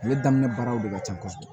Ale daminɛ baaraw de ka ca kosɛbɛ